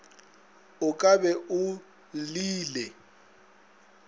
o ka be o llile